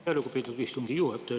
Aitäh, lugupeetud istungi juhataja!